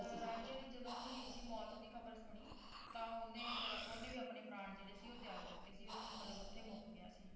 ਰਾਂਝੇ ਨੇ ਜਦੋਂ ਹੀਰ ਦੀ ਮੌਤ ਦੀ ਖਬਰ ਸੁਣੀ ਤਾ ਓਹਨੇ ਵੀ ਓਹਨੇ ਫੇਰ ਆਪਣੇ ਪ੍ਰਾਣ ਜਿਹੜੇ ਸੀ ਉਹ ਤਯਾਗ ਦਿੱਤੇ ਸੀ ਓਹਦੀ ਮਤਲਬ ਓਥੇ ਮੁੱਕ ਗਿਆ ਸੀ